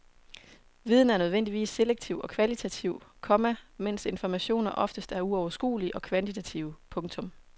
Viden er nødvendigvis selektiv og kvalitativ, komma mens informationer oftest er uoverskuelige og kvantitative. punktum